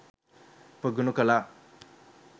ප්‍රගුණ කළා